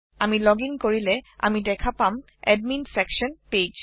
আমি লোগিং কৰিলে আমি দেখা পাম এডমিন ছেকশ্যন page